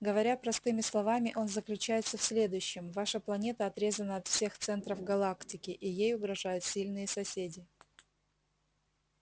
говоря простыми словами он заключается в следующем ваша планета отрезана от всех центров галактики и ей угрожают сильные соседи